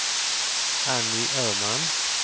Anny Öhman